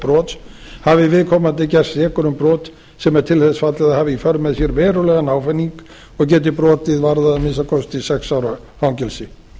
brots hafi viðkomandi gerst sekur um brot sem er til þess aflað að hafa í för með sér verulegan ávinning og geti brotið varðað að minnsta kosti sex ára fangelsi